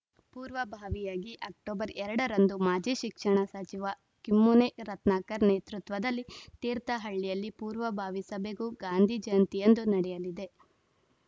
ಪೂರ್ವಭಾವಿಯಾಗಿ ಅಕ್ಟೋಬರ್ ಎರಡ ರಂದು ಮಾಜಿ ಶಿಕ್ಷಣ ಸಚಿವ ಕಿಮ್ಮನೆ ರತ್ನಾಕರ್‌ ನೇತೃತ್ವದಲ್ಲಿ ತೀರ್ಥಹಳ್ಳಿಯಲ್ಲಿ ಪೂರ್ವಭಾವಿ ಸಭೆಗೂ ಗಾಂಧಿ ಜಯಂತಿಯಂದು ನಡೆಯಲಿದೆ